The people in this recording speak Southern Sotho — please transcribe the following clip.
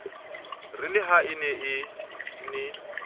re le ha e ne